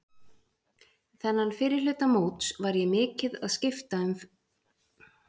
Þennan fyrri hluta móts var ég mikið að skipta um í fremstu víglínu.